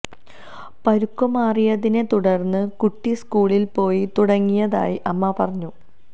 പരുക്ക് മാറിയതിനെ തുടര്ന്ന് കുട്ടി സ്കൂളില് പോയി തുടങ്ങിയതായി അമ്മ പറഞ്ഞു